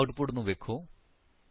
ਹੁਣ ਆਉਟਪੁਟ ਨੂੰ ਵੇਖੋ